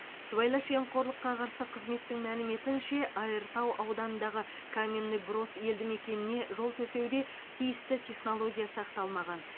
сыбайлас жемқорлыққа қарсы қызметтің мәліметінше айыртау ауданындағы каменный брод елді мекеніне жол төсеуде тиісті технология сақталмаған